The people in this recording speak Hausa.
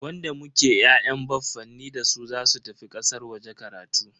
Wanda muke ya'yan baffanin dasu zasu tafi kasar waje karatu.